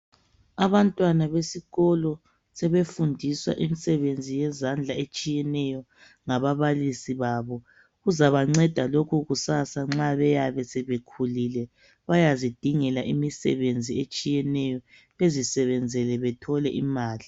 Abantwana besikolo sebefundiswa imisebenzi yezandla etshiyeneyo ngababalisi babo. Kuzabanceda lokhu kusasa nxa beyabe sebekhulile. Bayazidingela imisebenzi etshiyeneyo bezisebenzele bethole imali.